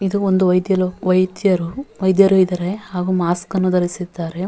ಇದು ಒಂದು ವೈದ ವೈದ್ಯರು ವೈದ್ಯರು ಇದ್ದಾರೆ ಹಾಗು ಮಾಸ್ಕನ್ನು ಧರಿಸಿದ್ದಾರೆ.